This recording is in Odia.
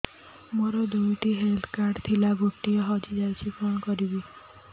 ମୋର ଦୁଇଟି ହେଲ୍ଥ କାର୍ଡ ଥିଲା ଗୋଟିଏ ହଜି ଯାଇଛି କଣ କରିବି